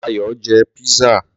Ayò jẹ pizza.